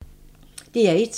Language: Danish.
DR1